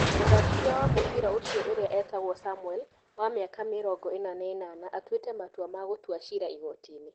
Mũthakithia wa mũbira ũcio ũrĩ a wĩ tagwo Samuel, wa mĩ aka mĩ rongo ĩ rĩ na ĩ nana atuĩ te matua ma gũtwara cira igotinĩ .